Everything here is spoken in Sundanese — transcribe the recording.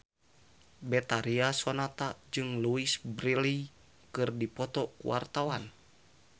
Betharia Sonata jeung Louise Brealey keur dipoto ku wartawan